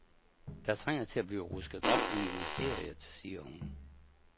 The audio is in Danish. Der trænger til at blive rusket op i ministeriet, siger hun.